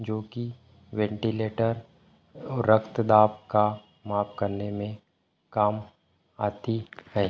जो की वेंटीलेटर अ और रक्त दाप का माप करने में काम आती है।